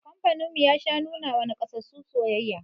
Kamfanin mu ya sha nuna wa nakasassu soyayya